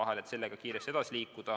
Tahtsime sellega kiiresti edasi liikuda.